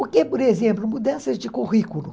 O que, por exemplo, mudanças de currículo.